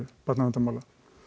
barnaverndarmála